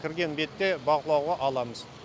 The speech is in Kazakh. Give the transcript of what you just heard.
кірген бетте бақылауға аламыз